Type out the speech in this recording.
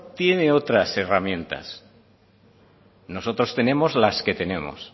tiene otras herramientas nosotros tenemos las que tenemos